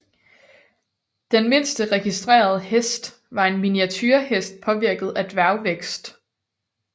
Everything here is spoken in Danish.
Den mindste registrerede hest var en miniaturehest påvirket af dværgvækst